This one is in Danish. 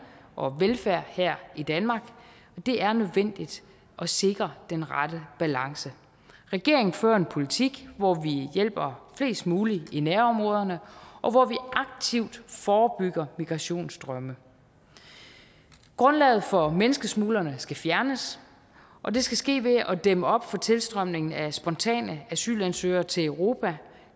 og velfærd her i danmark det er nødvendigt at sikre den rette balance regeringen fører en politik hvor vi hjælper flest mulige i nærområderne og hvor vi aktivt forebygger migrationsstrømme grundlaget for menneskesmuglerne skal fjernes og det skal ske ved at dæmme op for tilstrømningen af spontane asylansøgere til europa